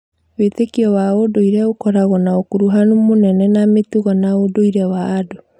Wĩĩtĩkio wa ũndũire ũkoragwo na ũkuruhanu mũnene na mĩtugo na ũndũire wa andũ.